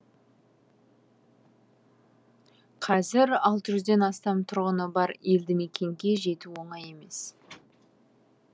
қазір алты жүзден астам тұрғыны бар елді мекенге жету оңай емес